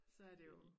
Så er det jo